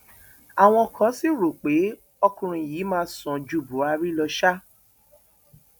àwọn kan sì rò pé ọkùnrin yìí máa sàn ju buhari lọ ṣá